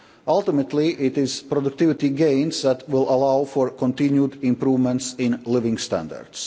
Ultimately it is productivity gains that will allow for continued improvements in living standards.